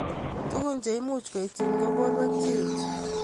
Tukun cheimuch kotyin ko borwek cheech.